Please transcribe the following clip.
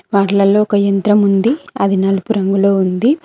వాట్లల్లో ఒక ఎంత్రం ఉంది అది నలుపు రంగులో ఉంది.